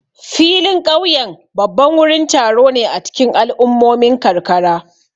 Filin ƙauyen babban wurin taro ne a cikin al'ummomin karkara.